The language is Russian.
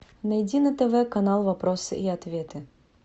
найди на тв канал вопросы и ответы